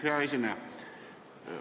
Hea esineja!